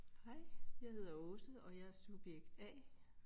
Hej jeg hedder Aase og jeg er subjekt A